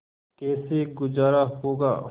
कैसे गुजारा होगा